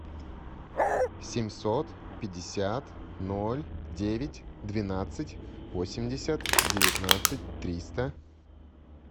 семьсот пятьдесят ноль девять двенадцать восемьдесят девятнадцать триста